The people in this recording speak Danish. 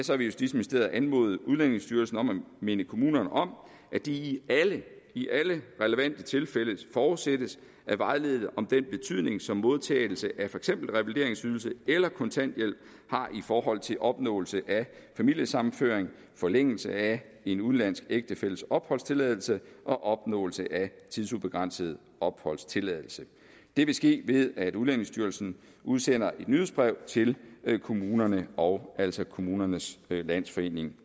så vil justitsministeriet anmode udlændingestyrelsen om at minde kommunerne om at de i alle relevante tilfælde forudsættes at vejlede om den betydning som modtagelse af for eksempel revalideringsydelse eller kontanthjælp har i forhold til opnåelse af familiesammenføring forlængelse af en udenlandsk ægtefælles opholdstilladelse og opnåelse af tidsubegrænset opholdstilladelse det vil ske ved at udlændingestyrelsen udsender et nyhedsbrev til kommunerne og altså til kommunernes landsforening